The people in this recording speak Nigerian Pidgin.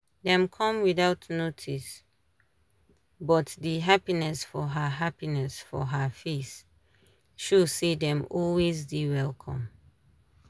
dem come without notice but di happiness for her happiness for her face show say dem always dey welcomed.